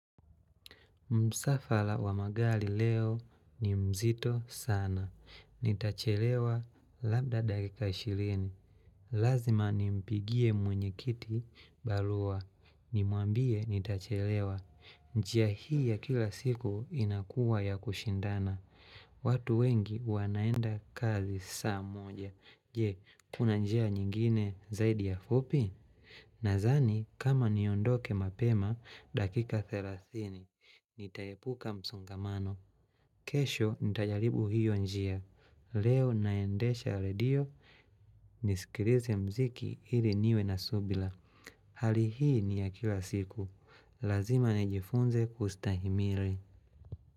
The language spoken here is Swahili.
Msafara wa magari leo ni mzito sana. Nitachelewa labda dakika 20. Lazima nimpigie mwenye kiti barua. Nimwambie nitachelewa. Njia hii ya kila siku inakuwa ya kushindana. Watu wengi wanaenda kazi saa moja. Je, kuna njia nyingine zaidi ya fupi? Nadhani kama niondoke mapema dakika 30. Nitaepuka msongamano. Kesho nitajaribu hiyo njia. Leo naendesha redio nisikilize mziki ili niwe na subira. Hali hii ni ya kila siku. Lazima nijifunze kustahimili.